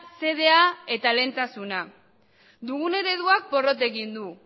xedea eta lehentasuna dugun ereduak porrot egin du